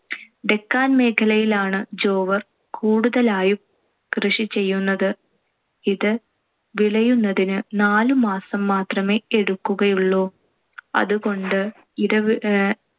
ഡെക്കാൻ മേഖലയിലാണ്‌ ജോവർ കൂടുതലായും കൃഷി ചെയ്യുന്നത്. ഇത് വിളയുന്നതിന്‌ നാലുമാസം മാത്രമേ എടുക്കുകയുള്ളൂ. അതുകൊണ്ട് ഇടവ് അഹ്